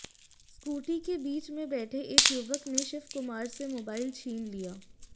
scooty के बीच में बैठे एक युवक ने शिव कुमार से मोबाइल छीन लिया